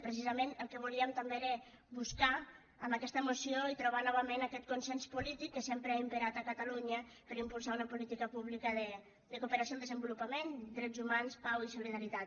precisament el que volíem també era buscar amb aquesta moció i trobar novament aquest consens polític que sempre ha imperat a catalunya per impulsar una política pública de cooperació al desenvolupament drets humans pau i solidaritat